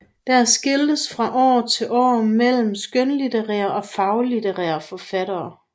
Der skiftes fra år til år mellem skønlitterære og faglitterære forfattere